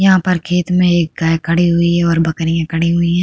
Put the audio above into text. यहाँ पर खेत में एक गाय खड़ी हुई है और बकरियाँ खड़ी हुई हैं।